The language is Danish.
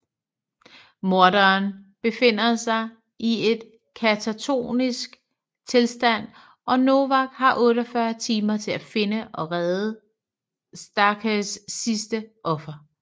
Morderen befinder sig i et katatoniskt tilstand og Novak har 48 timer til at finde og redde Starghers sidste offer